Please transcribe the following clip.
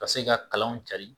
Ka se ka kalanw carin